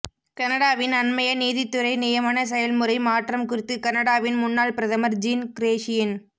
கனடாவின் அண்மைய நீதித்துறை நியமன செயல்முறை மாற்றம் குறித்து கனடாவின் முன்னாள் பிரதமர் ஜீன் க்ரேஷியன்